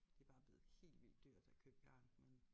Det bare blevet helt vildt dyrt at købe garn men